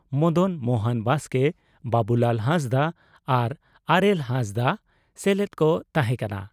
ᱢᱚᱫᱚᱱ ᱢᱚᱦᱚᱱ ᱵᱟᱥᱠᱮ ᱵᱟᱹᱵᱩᱞᱟᱞ ᱦᱟᱸᱥᱫᱟᱜ ᱟᱨ ᱟᱨᱮᱞ ᱦᱟᱸᱥᱫᱟᱜ ᱥᱮᱞᱮᱫ ᱠᱚ ᱛᱟᱦᱮᱸ ᱠᱟᱱᱟ ᱾